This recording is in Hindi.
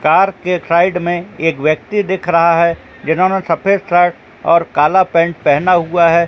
कार के साइड में एक व्यक्ति दिख रहा है जिन्होंने सफेद शर्ट और काला पेंट पहना हुआ है।